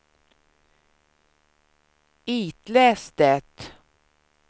itläs det